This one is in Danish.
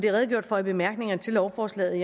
er redegjort for i bemærkningerne til lovforslaget